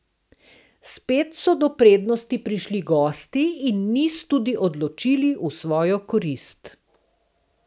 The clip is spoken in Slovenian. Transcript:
Spet so do prednosti prišli gosti in niz tudi odločili v svojo korist.